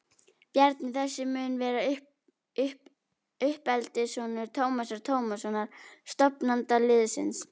Bjarni þessi mun vera uppeldissonur Tómasar Tómassonar, stofnanda liðsins.